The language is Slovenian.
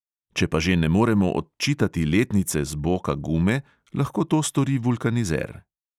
Če pa že ne moremo odčitati letnice z boka gume, lahko to stori vulkanizer.